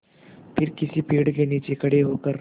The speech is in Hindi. फिर किसी पेड़ के नीचे खड़े होकर